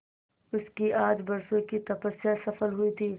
उसकी आज बरसों की तपस्या सफल हुई थी